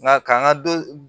Nka k'an ka dɔ